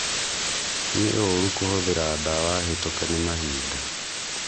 Nĩ ũrũ kũhũthĩra dawa hĩtũke nĩ mahinda